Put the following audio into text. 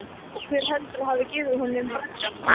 Og hver heldurðu að hafi gefið honum braggann?